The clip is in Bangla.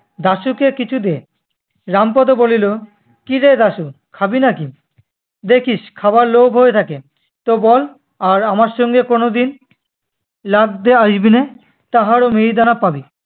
দাশুকে কিছু দে। রামপদো বলিলো, কিরে দাশু খাবি নাকি? দেখিস খাবার লোভ হয়ে থাকে তো বল আর আমার সঙ্গে কোনোদিন লাগতে আসবি নে, তাহলে মিহিদানা পাবি।